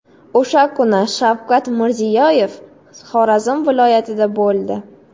O‘sha kuni Shavkat Mirziyoyev Xorazm viloyatida bo‘ldi.